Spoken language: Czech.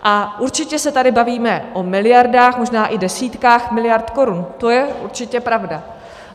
A určitě se tady bavíme o miliardách, možná i desítkách miliard korun, to je určitě pravda.